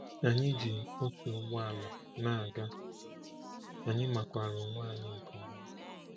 Anyị ji otu ụgbọ ala na-aga, anyị makwara onwe anyị nke ọma.